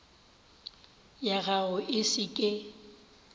ya gago e se ke